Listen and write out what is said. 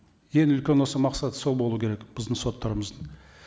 ең үлкен осы мақсаты сол болу керек біздің соттарымыздың